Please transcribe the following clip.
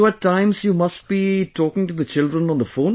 So, at times, you must be talking to the children on the phone